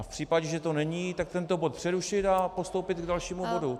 A v případě, že to není, tak tento bod přerušit a postoupit k dalšímu bodu.